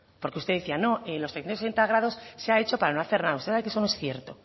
porque usted decía no los trescientos sesenta grados se ha hecho para no hacer nada usted sabe que eso no es cierto